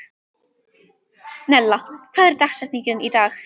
Nella, hver er dagsetningin í dag?